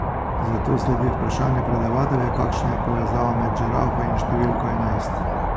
Zato sledi vprašanje predavatelja, kakšna je povezava med žirafo in številko enajst.